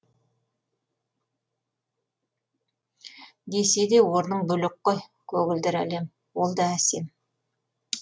десе де орның бөлек қой көгілдір әлем ол да әсем